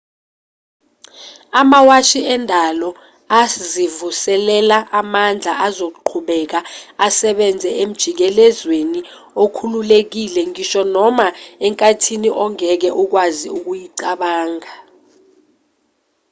amawashi endalo azivuselela amandla azoqhubeka esebenza emjikelwezweni okhululekile ngisho noma enkathini ongeke ukwazi ukuyicabanga